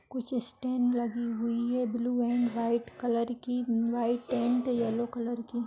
कुछ इस्टैंड लगी हुई है ब्लू अँड व्हाइट कलर की व्हाइट अँड येल्लो कलर की--